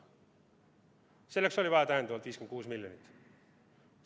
Selleks oli vaja 56 lisamiljonit.